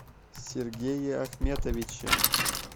сергее ахметовиче